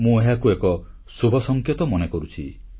ମୁଁ ଏହାକୁ ଏକ ଶୁଭ ସଂକେତ ମନେ କରୁଛି